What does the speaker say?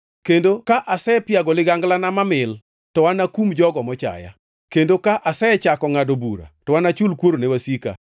kendo ka asepiago liganglana mamil, to anakum jogo mochaya, kendo ka asechako ngʼado bura to anachul kuor ne wasika.